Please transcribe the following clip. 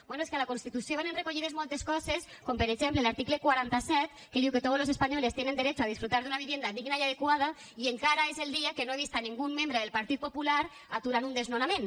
bé és que a la constitució venen recollides moltes coses com per exemple l’article quaranta set que diu que todos los españoles tienen derecho a disfrutar de una vivienda digna y adecuada i encara és el dia que no he vist ningun membre del partit popular aturant un desnonament